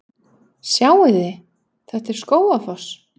Sjáiði! Þetta er Skógafoss.